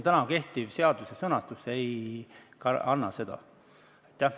Kehtiv seaduse sõnastus seda võimalust ei anna.